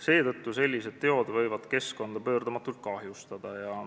Seetõttu võivad sellised teod keskkonda pöördumatult kahjustada.